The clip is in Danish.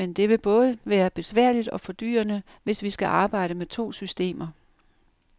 Men det vil både være besværligt og fordyrende, hvis vi skal arbejde med to systemer.